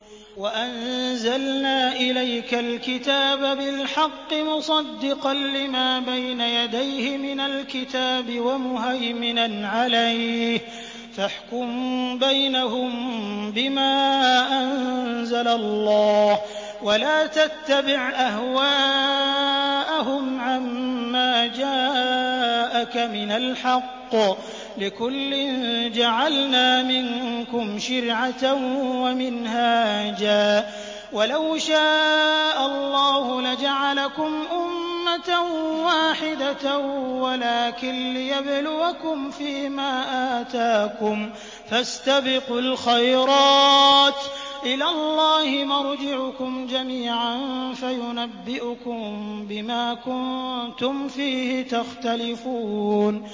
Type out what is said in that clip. وَأَنزَلْنَا إِلَيْكَ الْكِتَابَ بِالْحَقِّ مُصَدِّقًا لِّمَا بَيْنَ يَدَيْهِ مِنَ الْكِتَابِ وَمُهَيْمِنًا عَلَيْهِ ۖ فَاحْكُم بَيْنَهُم بِمَا أَنزَلَ اللَّهُ ۖ وَلَا تَتَّبِعْ أَهْوَاءَهُمْ عَمَّا جَاءَكَ مِنَ الْحَقِّ ۚ لِكُلٍّ جَعَلْنَا مِنكُمْ شِرْعَةً وَمِنْهَاجًا ۚ وَلَوْ شَاءَ اللَّهُ لَجَعَلَكُمْ أُمَّةً وَاحِدَةً وَلَٰكِن لِّيَبْلُوَكُمْ فِي مَا آتَاكُمْ ۖ فَاسْتَبِقُوا الْخَيْرَاتِ ۚ إِلَى اللَّهِ مَرْجِعُكُمْ جَمِيعًا فَيُنَبِّئُكُم بِمَا كُنتُمْ فِيهِ تَخْتَلِفُونَ